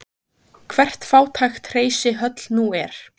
Hvert fátækt hreysi höll nú er.